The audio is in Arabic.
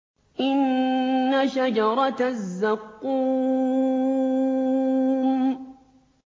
إِنَّ شَجَرَتَ الزَّقُّومِ